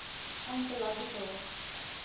anthological